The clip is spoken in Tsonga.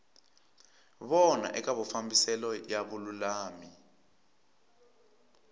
vona eka mafambiselo ya vululami